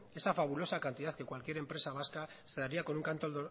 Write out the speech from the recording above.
esa fabulosa cantidad que cualquier empresa vasca se daría con un canto